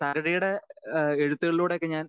speaker 2 തകഴിയുടെ എഴുത്തുകളിലൂടെ ഒക്കെ ഞാൻ